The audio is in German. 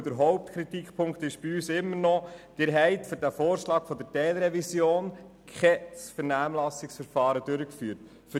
Der Hauptkritikpunkt ist für uns immer noch, dass für den Vorschlag der Teilrevision kein Vernehmlassungsverfahren durchgeführt wurde.